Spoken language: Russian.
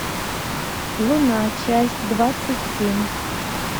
луна часть двадцать семь